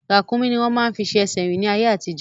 Ràkúnmí ni wọ́n máa ń fi ṣe ẹsẹ̀ rín ní ayé àtijọ́